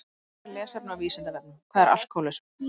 Frekara lesefni á Vísindavefnum Hvað er alkóhólismi?